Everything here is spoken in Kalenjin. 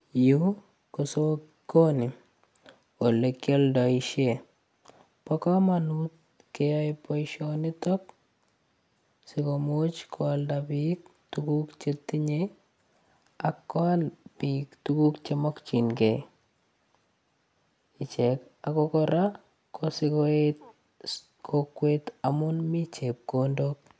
Yu ko sokoni ole kialdoishe bo komonut keyoe boishonitok sikomuch koalda biik tukuk chetinyei akoal biik tukuk chemokchingei ichek ako kora ko sikoet kokwet amun mii chepkondok.